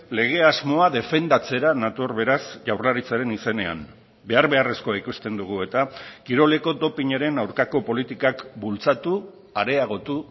lege asmoa defendatzera nator beraz jaurlaritzaren izenean behar beharrezkoa ikusten dugu eta kiroleko dopinaren aurkako politikak bultzatu areagotu